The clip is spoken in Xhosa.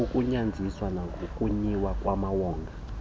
kukugunyaziswa kwanokuyilwa kwamawonga